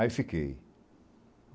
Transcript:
Aí fiquei.